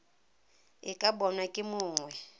e ka bonwa ke mongwe